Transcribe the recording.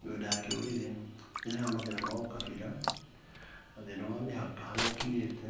Mĩgũnda ya kĩrũrĩrĩ nĩ ĩrehaga mathĩna ma ũkabira, thĩna wa mĩhaka harĩa ĩkinyĩte.